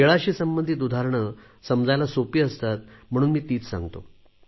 खेळाशी संबंधित उदाहरणे समजायला सोपी असतात म्हणून मी तीच सांगतो